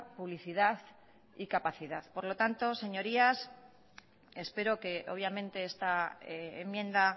publicidad y capacidad por lo tanto señorías espero que obviamente esta enmienda